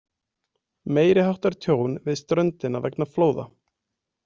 Meiriháttar tjón við ströndina vegna flóða.